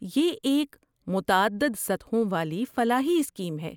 یہ ایک متعدد سطحوں والی فلاحی اسکیم ہے۔